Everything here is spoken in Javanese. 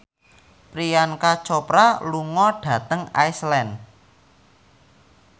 Priyanka Chopra lunga dhateng Iceland